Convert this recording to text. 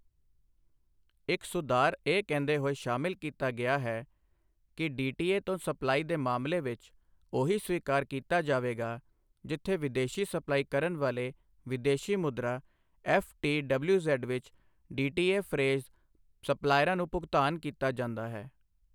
ਇਕ ਸੁਧਾਰ ਇਹ ਕਹਿੰਦੇ ਹੋਏ ਸ਼ਾਮਿਲ ਕੀਤਾ ਗਿਆ ਹੈ ਕਿ ਡੀਟੀਏ ਤੋਂ ਸਪਲਾਈ ਦੇ ਮਾਮਲੇ ਵਿਚ ਓਹੀ ਸਵੀਕਾਰ ਕੀਤਾ ਜਾਵੇਗਾ ਜਿਥੇ ਵਿਦੇਸ਼ੀ ਸਪਲਾਈ ਕਰਨ ਵਾਲੇ ਵਿਦੇਸ਼ੀ ਮੁਦਰਾ ਐਫਟੀਡਬਲਿਊਜ਼ੈੱਡ ਵਿਚ ਡੀਟੀਏਫ੍ਰੇਜ਼ ਸਪਲਾਇਰਾਂ ਨੂੰ ਭੁਗਤਾਨ ਕੀਤਾ ਜਾਂਦਾ ਹੈ।